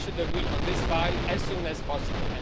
We should agree on this file as soon as possible.